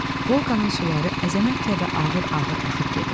Volqanın suları əzəmətlə və ağır-ağır axıb gedir.